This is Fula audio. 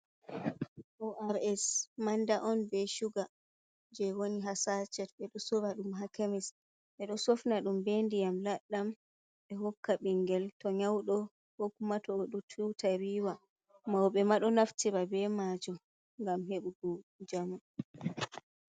Ors manda on ɓe suga je woni ha sacet, ɓe ɗo sorra ɗum ha kemis, ɓe ɗo sofna ɗum ɓe ndiyam labɗam ɓe hokka bingel to nyaudo kokuma to o ɗo tuta riiwa maoɓe maɗo naftira be majum ngam heɓugo njamu.